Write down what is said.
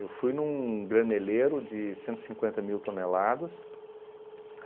Eu fui num graneleiro de cento e cinquenta mil toneladas.